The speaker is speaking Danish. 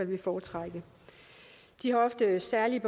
ville foretrække de har ofte særlige